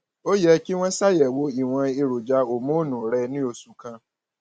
ó yẹ kí wọn ṣàyẹwò ìwọn èròjà hòmónù rẹ ní oṣù kan